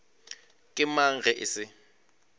ke mang ge e se